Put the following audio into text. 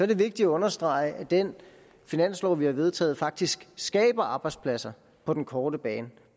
det vigtigt at understrege at den finanslov vi har vedtaget faktisk skaber arbejdspladser på den korte bane